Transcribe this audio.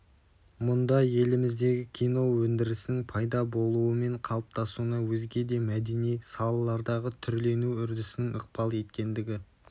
мұнда еліміздегі кино өндірісінің пайда болуы мен қалыптасуына өзге де мәдени салалардағы түрлену үрдісінің ықпал еткендігі